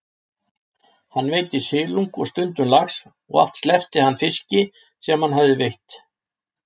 Hann veiddi silung og stundum lax og oft sleppti hann fiski sem hann hafði veitt.